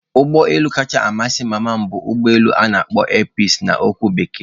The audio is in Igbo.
Ụgbọ elu kacha amasị mama m bụ ugbo elu ana akpo 'air peaci' na okwu bekee.